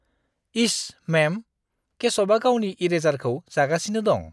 इश! मेम, केशवआ गावनि इरेजारखौ जागासिनो दं।